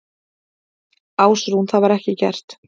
Ásrún: Það var ekki gert?